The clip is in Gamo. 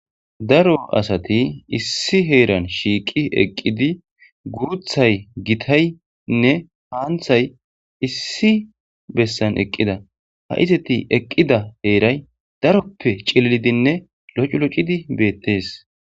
Daro asati issi heran shiqi eqidi guthay gitay gitayne qantay issi besan eqida ha izati eqida heray daro pute coridinne locilocidi betes.